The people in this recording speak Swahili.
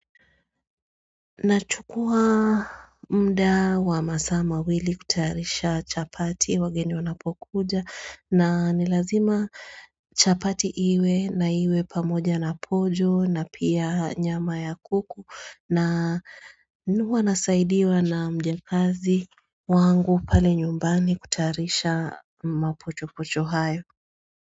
Nachukua mda wa masaa mawili kutayarisha chapati wageni wanapokuja na ni lazima chapati iwe na iwe pamoja na pojo na pia nyama ya kuku na huwa nasaidiwa na mjakazi wangu pale nyumbani kutayarisha mapochopocho hayo.